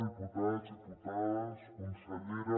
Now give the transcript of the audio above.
diputats diputades consellera